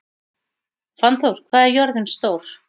Fannþór, hvað er jörðin stór?